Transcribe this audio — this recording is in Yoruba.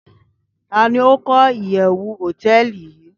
Tani o ko iyewu hoteeli yii